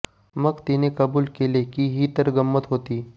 मग तिने कबूल केले की ही तर गंमत होती